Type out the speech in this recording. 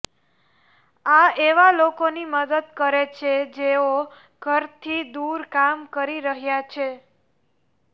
આ એવા લોકોની મદદ કરે છે જેઓ ઘરથી દૂર કામ કરી રહ્યાં છે